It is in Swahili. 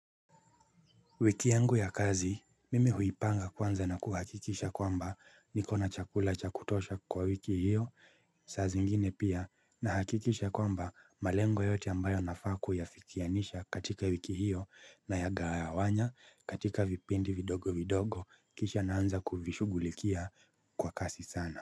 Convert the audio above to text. Wiki yangu ya kazi, mimi huipanga kwanza na kuhakikisha kwamba niko na chakula cha kutosha kwa wiki hiyo, saa zingine pia, na hakikisha kwamba malengo yote ambayo nafaa kuyafikianisha katika wiki hiyo na yagawanya katika vipindi vidogo vidogo kisha naanza kuvishughulikia kwa kasi sana.